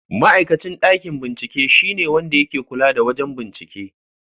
Ma'aikacin ɗakin bincike shine wanda yake kula da wajen bincike.